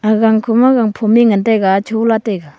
gankhoma gangphom e ngan taiga chola taiga.